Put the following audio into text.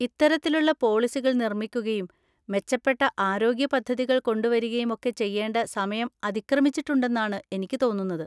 ഇത്തരത്തിലുള്ള പോളിസികൾ നിർമ്മിക്കുകയും മെച്ചപ്പെട്ട ആരോഗ്യ പദ്ധതികൾ കൊണ്ടുവരികയും ഒക്കെ ചെയ്യേണ്ട സമയം അതിക്രമിച്ചിട്ടുണ്ടെന്നാണ് എനിക്ക് തോന്നുന്നത്.